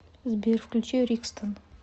сбер включи рикстон